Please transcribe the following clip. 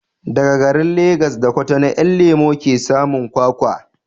Daga garin Legas da Kutonu 'Yan lemo ke samun kwakwa